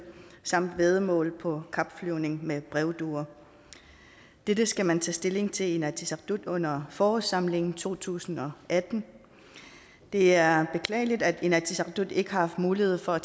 samt væddemål på kapflyvning med brevduer dette skal man tage stilling til i inatsisartut under forårssamlingen to tusind og atten det er beklageligt at inatsisartut ikke har haft mulighed for at